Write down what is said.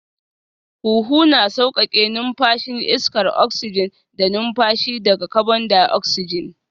Huhu na sauƙaƙe numfashin iskar oksijin da numfashi daga kabon daoksijin